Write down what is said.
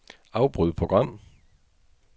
Afbryd program.